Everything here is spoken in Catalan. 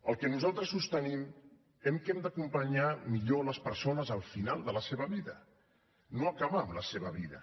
el que nosaltres sostenim és que hem d’acompanyar millor les persones al final de la seva vida no acabar amb la seva vida